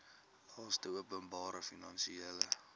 laste openbare finansiële